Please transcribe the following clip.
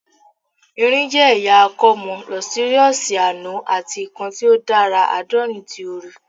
Irin jẹ ẹya akomo, lustrous ano ati kan ti o dara adaorin ti ooru